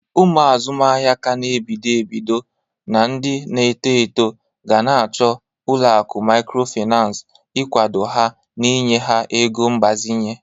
Ụmụ azụmahịa ka n'ebido ebido na ndị na-eto eto gana achọ ụlọakụ mikrofinas igwado ha na inye ha ego mgbazinye.